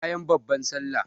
Bayan babban sallah